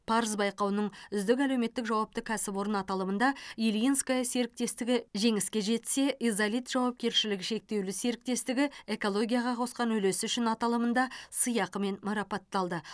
парыз байқауының үздік әлеуметтік жауапты кәсіпорын аталымында ильинское серіктестігі жеңіске жетсе изолит жауапкершілігі шектеулі серіктестігі экологияға қосқан үлесі үшін аталымында сыйақымен марапатталды